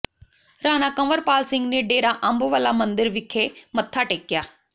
ਰਾਣਾ ਕੰਵਰਪਾਲ ਸਿੰਘ ਨੇ ਡੇਰਾ ਅੰਬ ਵਾਲਾ ਮੰਦਿਰ ਵਿਖੇ ਮੱਥਾ ਟੇਕਿਆ